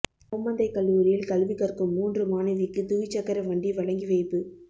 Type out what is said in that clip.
ஓமந்தை கல்லூரியில் கல்வி கற்கும் மூன்று மாணவிக்கு துவிச்சக்கர வண்டி வழங்கி வைப்பு